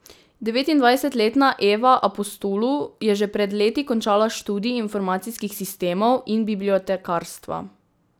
Devetindvajsetletna Eva Apostolu je že pred leti končala študij informacijskih sistemov in bibliotekarstva.